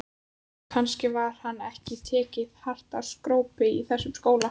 Kannski var ekki tekið hart á skrópi í þessum skóla.